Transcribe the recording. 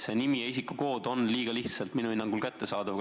See nimi ja isikukood on minu hinnangul liiga lihtsasti kättesaadavad.